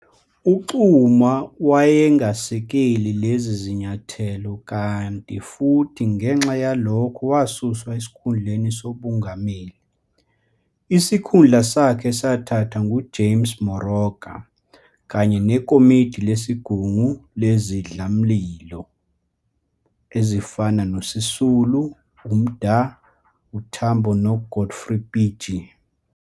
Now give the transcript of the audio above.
UXuma wayengasekeli lezi zinyathelo kanti futhi ngenxa yalokho wasuswa esikhundleni sobungameli, isikhundla sakhe sathathwa nguJames Moroka, kanye nekomidi lesigungu lezindlamlilo ezifana noSisulu, uMda, uTambo noGodfrey Pitje.